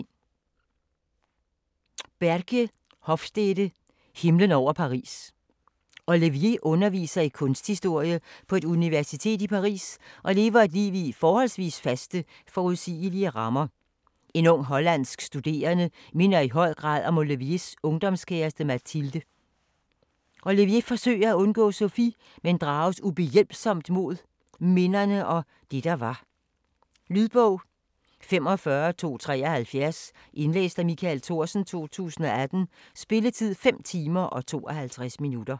Hofstede, Bregje: Himlen over Paris Olivier underviser i kunsthistorie på et universitet i Paris og lever et liv i forholdsvis faste, forudsigelige rammer. En ung hollandsk studerende minder i høj grad om Oliviers ungdomskæreste Mathilde. Olivier forsøger at undgå Sofie, men drages ubehjælpsomt mod minderne og det der var. Lydbog 45273 Indlæst af Michael Thorsen, 2018. Spilletid: 5 timer, 52 minutter.